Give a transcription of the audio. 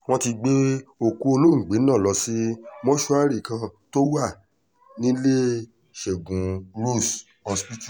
wọ́n ti gbé òkú olóògbé náà lọ sí mọ́ṣúárì kan tó wà níléeṣẹ́gun rose hospital